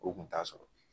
O kun t'a sɔrɔ